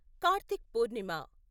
Karthik Purnima